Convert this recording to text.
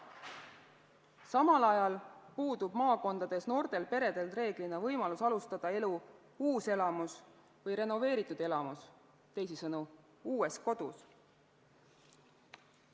Samal ajal puudub maakondades noortel peredel reeglina võimalus alustada elu uuselamus või renoveeritud elamus, teisisõnu uues kodus.